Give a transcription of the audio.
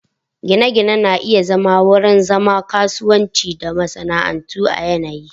Gine-gine na iya zama wurin zama, kasuwanci da masana'antu a yanayi